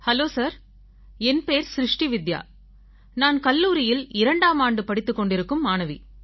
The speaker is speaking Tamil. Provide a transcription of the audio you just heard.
ஹலோ சார் என் பேர் ஸ்ருஷ்டி வித்யா நான் கல்லூரியில் 2ஆம் ஆண்டு படித்துக் கொண்டிருக்கும் மாணவி